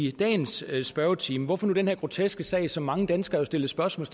i dagens spørgetime hvorfor nu nævne den her groteske sag som mange danskere har stillet spørgsmål